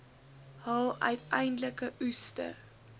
hul uiteindelike oeste